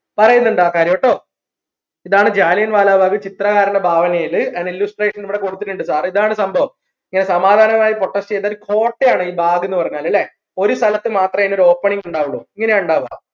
പറയുന്നുണ്ട് ആ കാര്യം ട്ടോ ഇതാണ് ജാലിയൻ വാല ബാഗ് ചിത്രകാരന്റെ ഭാവനയിൽ an illustration ഇവിടെ കൊടുത്തിട്ടുണ്ട് ഇതാണ് സംഭവം ഇങ്ങനെ സമാദാനായി protest ചെയ്ത ഒരു കോട്ടയാണ് ഈ ബാഗ്ന്ന് പറഞ്ഞുൽ ല്ലേ ഒരു സ്ഥലത്തു മാത്രേ ഇതിന് opening ഇണ്ടാവുള്ളു ഇങ്ങനെയാ ഇണ്ടാവാ